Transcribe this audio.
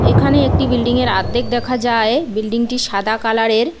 এখানে একটি বিল্ডিংয়ের আদ্ধেক দেখা যায় বিল্ডিংটি সাদা কালারের।